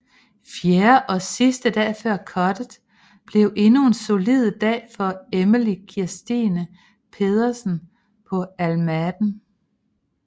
Fjerde og sidste dag før cuttet blev endnu en solid dag for Emily Kristine Pedersen på Al Maaden